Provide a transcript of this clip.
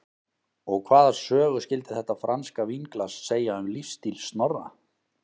Og hvaða sögu skyldi þetta franska vínglas segja um lífsstíl Snorra?